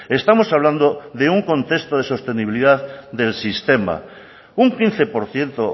estamos hablando de un contexto de sostenibilidad del sistema un quince por ciento